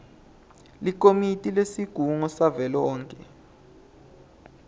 likomiti lesigungu savelonkhe